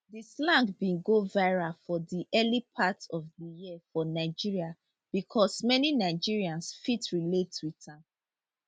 di slang bin go viral for di early part of di year for nigeria bicos many nigerians fit relate wit am